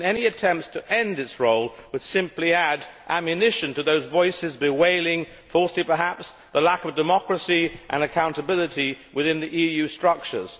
Any attempts to end its role would simply add ammunition to those voices bewailing falsely perhaps the lack of democracy and accountability within the EU structures.